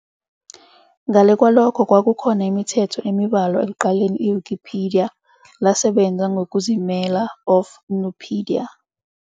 Ngale kwalokho, kwakukhona imithetho emibalwa ekuqaleni Wikipedia lasebenza ngokuzimela of Nupedia.